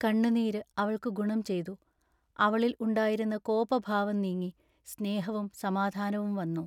കണ്ണുനീരു അവൾക്കു ഗുണം ചെയ്തു. അവളിൽ ഉണ്ടായിരുന്ന കോപഭാവം നീങ്ങി സ്നേഹവും സമാധാനവും വന്നു.